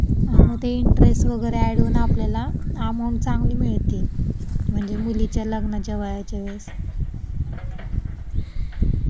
आणि ते इंटरेस्ट वगैरे ऍड करून आपल्याला अमाऊंट वगैरे चांगली मिळते म्हणजे मुलीच्या लग्नाच्या वयाच्या वेळेस.